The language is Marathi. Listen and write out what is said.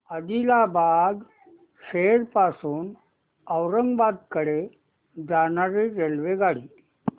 आदिलाबाद शहर पासून औरंगाबाद कडे जाणारी रेल्वेगाडी